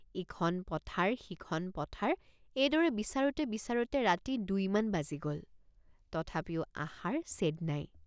ইখন পথাৰ সিখন পথাৰ এইদৰে বিচাৰোঁতে বিচাৰোঁতে ৰাতি দুই মান বাজি গ'ল তথাপিও আশাৰ ছেদ নাই।